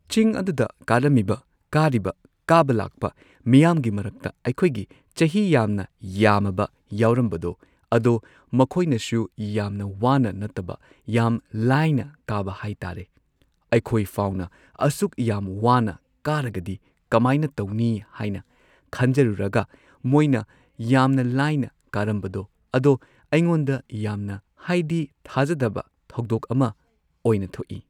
ꯆꯤꯡ ꯑꯗꯨꯗ ꯀꯥꯔꯝꯃꯤꯕ ꯀꯥꯔꯤꯕ ꯀꯥꯕ ꯂꯥꯛꯄ ꯃꯤꯌꯥꯝꯒꯤ ꯃꯔꯛꯇ ꯑꯩꯈꯣꯏꯒꯤ ꯆꯍꯤ ꯌꯥꯝꯅ ꯌꯥꯝꯃꯕ ꯌꯥꯎꯔꯝꯕꯗꯣ ꯑꯗꯣ ꯃꯈꯣꯏꯅꯁꯨ ꯌꯥꯝꯅ ꯋꯥꯅ ꯅꯠꯇꯕ ꯌꯥꯝ ꯂꯥꯏꯅ ꯀꯥꯕ ꯍꯥꯏ ꯇꯥꯔꯦ ꯑꯩꯈꯣꯏꯐꯥꯎꯅ ꯑꯁꯨꯛ ꯌꯥꯝ ꯋꯥꯅ ꯀꯥꯔꯒꯗꯤ ꯀꯃꯥꯏꯅ ꯇꯧꯅꯤ ꯍꯥꯢꯅ ꯈꯟꯖꯔꯨꯔꯒ ꯃꯣꯏꯅ ꯌꯥꯝ ꯂꯥꯏꯅ ꯀꯥꯔꯝꯕꯗꯣ ꯑꯗꯣ ꯑꯩꯉꯣꯟꯗ ꯌꯥꯝꯅ ꯍꯥꯏꯗꯤ ꯊꯥꯖꯗꯕ ꯊꯧꯗꯣꯛ ꯑꯃ ꯑꯣꯏꯅ ꯊꯣꯛꯏ꯫